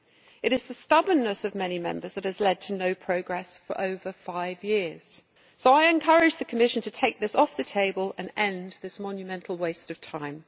It is the stubbornness of many Members that has led to no progress for over five years, so I encourage the Commission to take this off the table and end this monumental waste of time.